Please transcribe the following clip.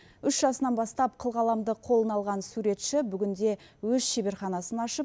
үш жасынан бастап қылқаламды қолына алған суретші бүгінде өз шеберханасын ашып